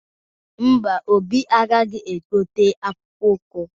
Mba, Obi agaghị egote akpụkpọ ụkwụ?